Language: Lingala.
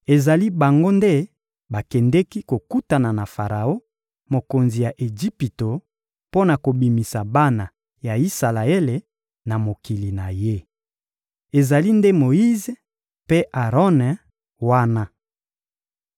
Ezali bango nde bakendeki kokutana na Faraon, mokonzi ya Ejipito, mpo na kobimisa bana ya Isalaele na mokili na ye. Ezali nde Moyize mpe Aron wana.